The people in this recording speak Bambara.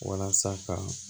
Walasa ka